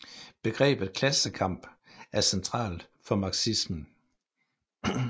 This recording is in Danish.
Begrebet klassekamp er centralt for marxismen